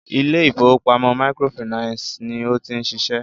ilé ìfọwọ́pamo microfinancii ní o ti ń ṣiṣẹ́.